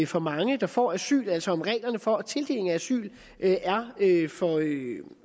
for mange der får asyl altså om reglerne for tildeling af asyl er